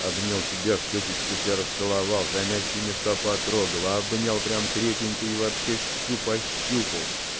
обнял тебя в щёчечку тебя расцеловал за мягкие места потрогал обнял прямо крепенько и вообще всю пощупал